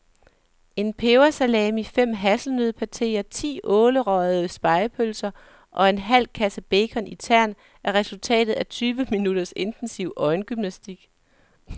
En pebersalami, fem hasselnøddepateer, ti ålerøgede spegepølser og en halv kasse bacon i tern er resultatet af tyve minutters intensiv øjengymnastik.